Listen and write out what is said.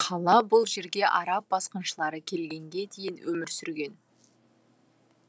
қала бұл жерге араб басқыншылары келгенге дейін өмір сүрген